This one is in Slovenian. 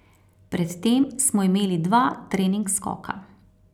Pred tem smo imeli dva trening skoka.